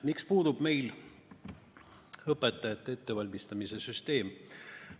Miks puudub meil õpetajate ettevalmistamise süsteem?